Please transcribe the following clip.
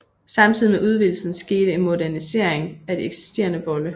Samtidig med udvidelsen skete en modernisering af de eksisterende volde